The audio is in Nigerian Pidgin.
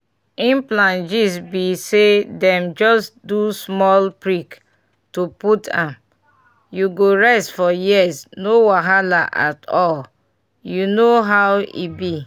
implant gist be saydem just do small prick to put m— you go rest for years no wahala at all you know how e b.